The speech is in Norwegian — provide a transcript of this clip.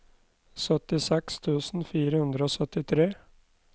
syttiseks tusen fire hundre og syttitre